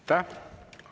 Aitäh!